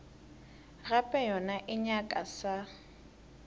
gape yona e nyaka sa